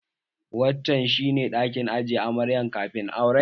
Wancan shi ne ɗakin ajiye amarya kafin aure